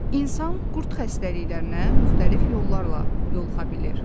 İnsan qurd xəstəliklərinə müxtəlif yollarla yoluxa bilir.